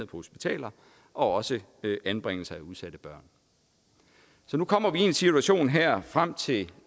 på hospitaler og også anbringelser af udsatte børn nu kommer vi i en situation her frem til